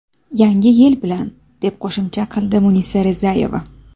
Yangi yil bilan!”, deb qo‘shimcha qildi Munisa Rizayeva.